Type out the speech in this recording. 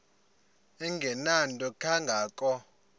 engenanto kanga ko